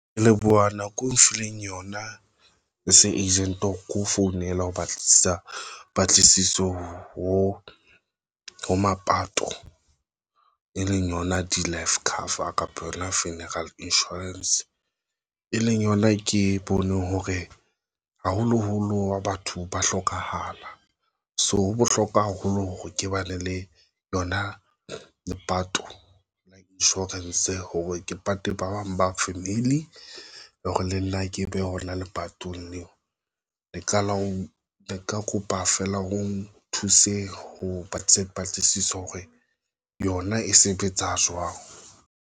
Ke leboha nako nfileng yona ho seng agent hore keo founela ho batlisisa patlisiso ho ho mapato e leng yona di-life cover kapa yona funeral insurance, e leng yona ke bone hore haholoholo wa batho ba hlokahala. So ho bohlokwa haholo hore ke ba ne le lona lepato insurance, hore ke pate ba bang ba family hore le nna ke be hona lepatong leo, le qala ho ne ke kopa feela. O thuse ho se patlisiso hore yona e sebetsa jwang.